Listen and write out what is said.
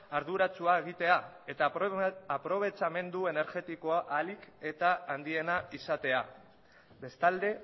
arduratsua egitea eta aprobetsamendu energetikoa ahalik eta handiena izatea bestalde